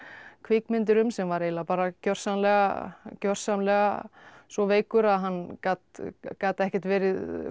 kvikmyndir um sem var eiginlega gjörsamlega gjörsamlega svo veikur að hann gat gat ekkert verið